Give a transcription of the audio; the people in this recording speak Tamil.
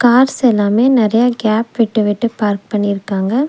கார்ஸ் எல்லாமே நெறையா கேப் விட்டு விட்டு பார்க் பண்ணிருக்காங்க.